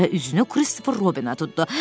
və üzünü Kristofer Robinə tutdu.